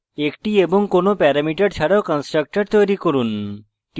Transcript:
1 টি এবং কোনো প্যারামিটার ছাড়াও constructor তৈরী করুন